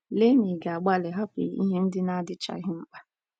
Lee ma ị̀ ga - agbalị hapụ ihe ndị na - adịchaghị mkpa.